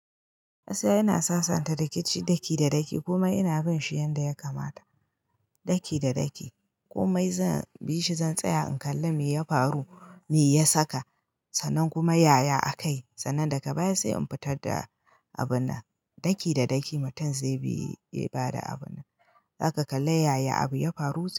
Gaskiya ina sasanta rikici daki da daki kuma ina bin shi yanda ya kamata. Daki da daki komai zan bi shi zan tsaya in kalla me ya faru me ya saka sannan kuma yaya a kai sannan daga baya sai in fitar da abun nan. Daki da daki mutum zai bi ya bada abun nan. Zaka kalla yaya abu ya faru.